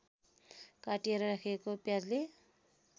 काटिएर राखेको प्याजले